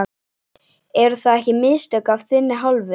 Eru það ekki mistök af þinni hálfu?